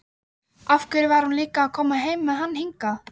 Af hverju var hún líka að koma með hann hingað?